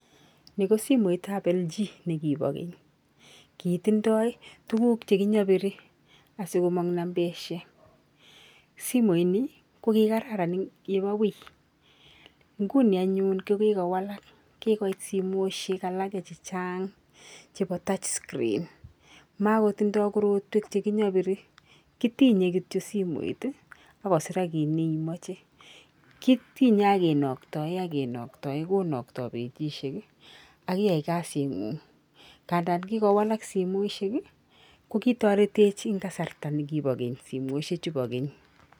Ni kosimoit tab LG nekibo keny, kitindoi tukul chekinyobirii asikomong nambaishek simoit nii kokikararan yebo wui nguni anyun kokikowalal kikoit simoishek chachang chebo touch sreen makotindoi korotwek chekinyobiri kitinye kityo simoit ak kosirak kii ne imoche, kitinye ak kinokto ak kinokto konokto bechishek ak iyai kazingung ngandan kikowalak simoishek kokitoretech en kasarta ne kibo keny simoishek chuu kibo keny.